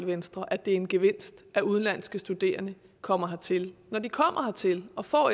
venstre at det er en gevinst at udenlandske studerende kommer hertil når de kommer hertil og får